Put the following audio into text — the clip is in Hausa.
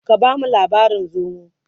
ka bamu labarin zomo!